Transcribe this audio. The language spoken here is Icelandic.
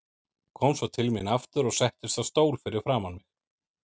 Kom svo til mín aftur og settist á stól fyrir framan mig.